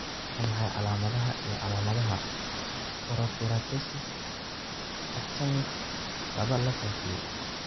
Waa maxay calaamadaha iyo calaamadaha Porokeratosis, actinic laba la faafiyey?